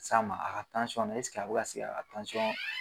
Sa ma a ka nu a bɛ ka se k'a ka